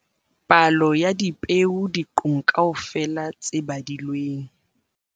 Palo ya dipeo diqong kaofela tse badilweng